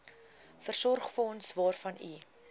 voorsorgsfonds waarvan u